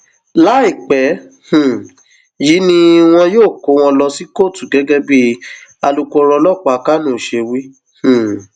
láìpẹ um yìí ni wọn yóò kó wọn lọ sí kóòtù gẹgẹ bíi alūkkóró ọlọpàá kánò ṣe wí um